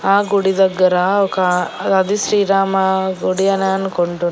ఆ గుడి దగ్గర ఒక రధ శ్రీరామ గుడి అనే అనుకుంటున్నాను.